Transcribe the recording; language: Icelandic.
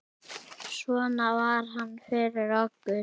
Svona var hann fyrir okkur.